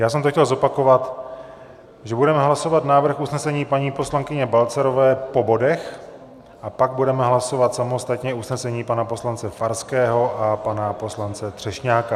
Já jsem to chtěl zopakovat, že budeme hlasovat návrh usnesení paní poslankyně Balcarové po bodech a pak budeme hlasovat samostatně usnesení pana poslance Farského a pana poslance Třešňáka.